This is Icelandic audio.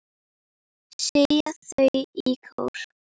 segja þau í kór.